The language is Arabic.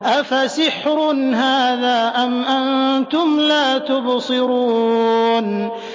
أَفَسِحْرٌ هَٰذَا أَمْ أَنتُمْ لَا تُبْصِرُونَ